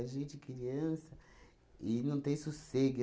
a gente, criança, e não tem sossego.